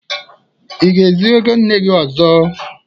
Ị ga-ezu ego nne gị ọzọ?